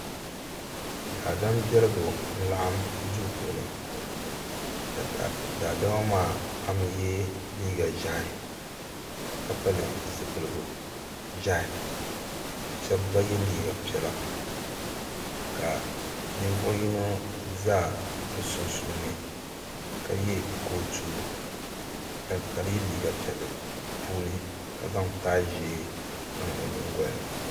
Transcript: Daadam biɛligu n laɣim duu puuni ka daadama pam yɛ liiga ʒiɛhi ka pili zipiligu ʒiɛhi ka shɛba gba yɛ liiga piɛla ka ninvuɣu yino za bi sunsuuni ka yɛ kootu ka yɛ liiga piɛlli puuni ka zaŋ taayi ʒee niŋ o?nyingoli ni.